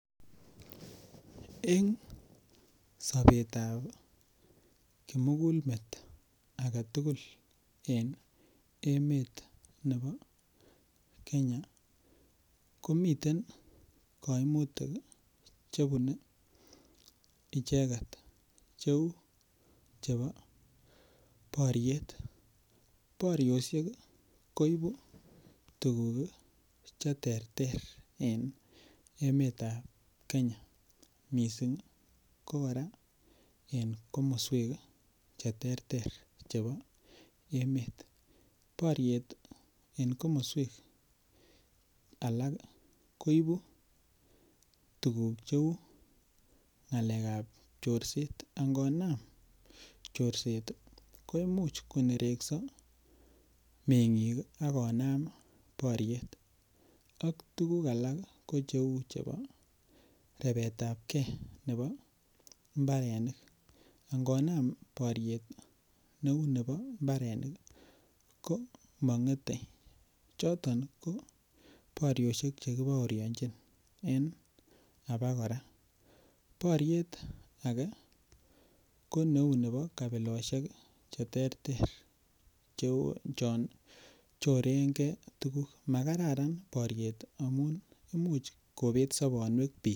Eng sobetab kimugulmet agetugul en emet ne bo kenya komiten koimutik chebunei icheket cheu chebo boriet boriosiek koibu tukuk cheterter en emetab kenya, missing ko kora en komoswek cheterter chebo emet boriet en komoswek alak koibu tukuk cheu ng'alekab chorset, angonam chorset koimuch konerekso meng'ik akonam boriet ak tukuk alak ko cheu chebo repeetabke nebo mbarenik angonam boriet neu nebo mbarenik komonge'et choton ko boriosiek chekibaorianchin en abakora boriet ake ko neu nebo kabilosiek cheterter cheu chon chorengee tukuk makararan boriet amun imuch kobet sobonwek biik.